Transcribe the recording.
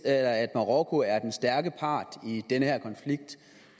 at marokko er den stærke part i den her konflikt